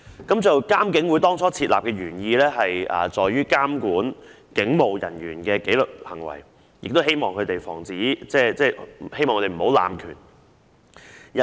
當初設立監警會的原意在於監管警務人員的紀律行為，亦希望防止他們濫權。